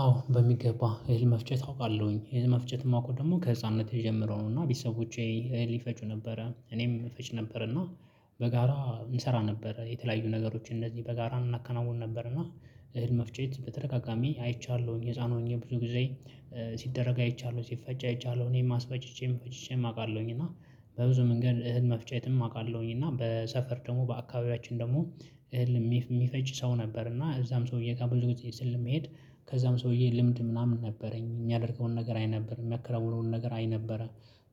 አዎ በሚገባ እህል መፍጨት አውቃለሁኝ እህል መፍጨት ማውቀው ደግሞ ከህፃንነቴ ጀምሮ ነው እና ቤተሰቦቼ እህል ይፈጩ ነበረ እኔም እፈጭ ነበር እና በጋራ እንሰራ ነበረ። የተለያዩ ነገሮችን እነዚህ በጋራ እናከናውን ነበር። እና እህል መፍጨት በተደጋጋሚ አይቻለሁኝ ህፃን ሆኜ ብዙ ጊዜ ሲደረግ አይቻለሁ ሲፈጭ አይቻለሁ። እኔም አስፈጭቼም ፈጭቼም አውቃለሁኝ እና በብዙ መንገድ እህል መፍጨትም አውቃለሁኝ። እና በሰፈር ደግሞ በአካባቢያችን ደግሞ እህል የሚፈጭ ሰው ነበር። እና እዛም ሰውዬጋ ብዙ ጊዜ ስል መሄድ። ከዛም ሰውዬ ልምድ ምናምን ነበረኝ እሚያደርገውን ነገር አይ ነበር እሚያከናውነው ነገር አይ ነበረ።